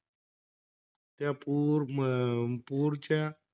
त्या पूर अं पुरच्या,